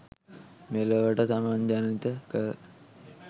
මෙලොවට තමන් ජනිත කර